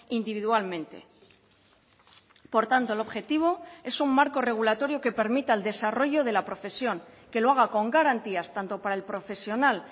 individualmente por tanto el objetivo es un marco regulatorio que permita el desarrollo de la profesión que lo haga con garantías tanto para el profesional